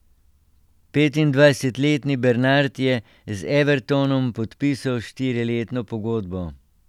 Petindvajsetletni Bernard je z Evertonom podpisal štiriletno pogodbo.